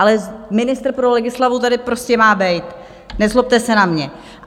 Ale ministr pro legislativu tady prostě má být, nezlobte se na mě.